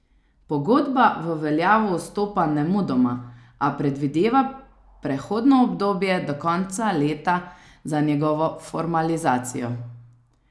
Pogodba v veljavo vstopa nemudoma, a predvideva prehodno obdobje do konca leta za njegovo formalizacijo.